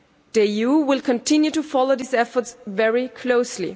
The EU will continue to follow these efforts very closely.